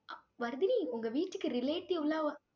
வர்தினி, உங்க வீட்டுக்கு relative லாம்